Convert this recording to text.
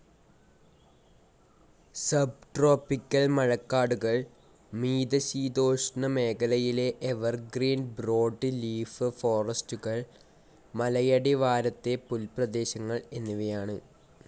Sub tropical മഴക്കാടുകൾ, മീതശീതോഷ്ണമേഖലയിലെ evergreen broad leaf ഫോറസ്റ്റുകൾ, മലയടിവാരത്തെപുൽപ്രദേശങ്ങൾ എന്നിവയാണ്.